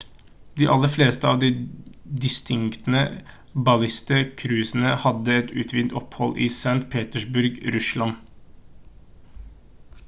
de aller fleste av de distinkte baltiske cruisene hadde et utvidet opphold i st petersburg russland